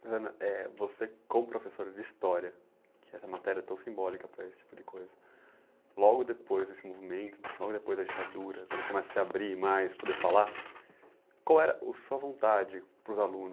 eh você como professora de história, que essa matéria é tão simbólica para esse tipo de coisa, logo depois desse movimento, logo depois da ditadura, quando começa a se abrir mais, poder falar, qual era a sua vontade para os alunos?